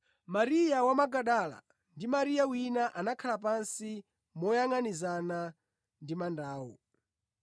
Mariya wa Magadala ndi Mariya wina anakhala pansi moyangʼanizana ndi mandawo.